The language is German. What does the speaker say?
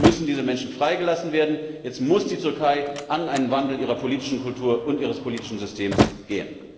Jetzt müssen diese Menschen freigelassen werden, jetzt muss die Türkei einen Wandel ihrer politischen Kultur und ihres politischen Systems herbeiführen!